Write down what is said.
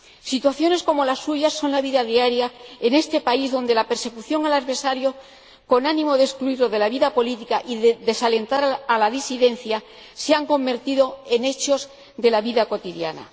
Situaciones como la suya son la vida diaria en este país, donde la persecución del adversario con ánimo de excluirle de la vida política y de desalentar a la disidencia se ha convertido en parte de la vida cotidiana.